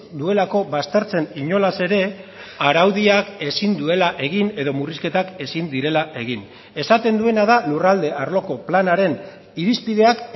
duelako baztertzen inolaz ere araudiak ezin duela egin edo murrizketak ezin direla egin esaten duena da lurralde arloko planaren irizpideak